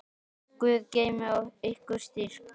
Guð geymi ykkur og styrki.